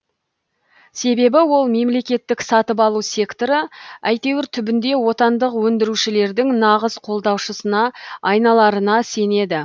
себебі ол мемлекеттік сатып алу секторы әйтеуір түбінде отандық өндірушілердің нағыз қолдаушысына айналарына сенеді